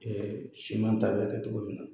Ɛɛ siman t'a la kɛ cogo min na